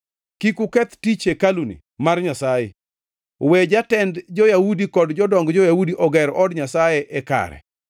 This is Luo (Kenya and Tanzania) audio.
Kik uketh tich hekaluni mar Nyasaye. We jatend jo-Yahudi kod jodong jo-Yahudi oger od Nyasaye e kare.